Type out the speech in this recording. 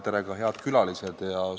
Tere ka head külalised!